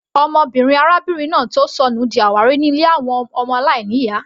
Ọmọbìnrin arábìnrin náà tó sọnù di àwárí ní ilé àwọn ọmọ aláìní ìyá.